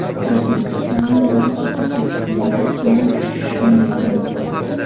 O‘zbekistonning barcha hududlarida tuman tushishi mumkin.